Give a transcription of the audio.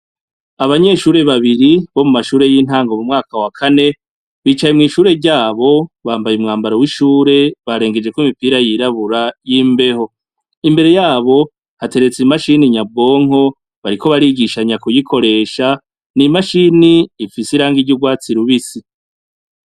Abanyeshure babiri bomumashure yintango mumwaka wakane bicaye mwishure ryabo bambaye umwambaro wishure barengejeko imipira yirabura yimbeho imbere yabo hateretse imashini nyabwonko bariko barigishanya kuyikoresha nimashine ifise irangi ryurwatsi rubisi